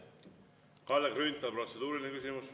Kalle Grünthal, protseduuriline küsimus.